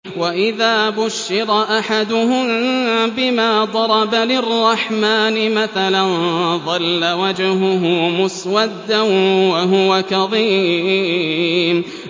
وَإِذَا بُشِّرَ أَحَدُهُم بِمَا ضَرَبَ لِلرَّحْمَٰنِ مَثَلًا ظَلَّ وَجْهُهُ مُسْوَدًّا وَهُوَ كَظِيمٌ